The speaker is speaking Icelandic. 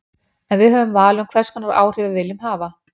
En við höfum val um hvers konar áhrif við viljum hafa.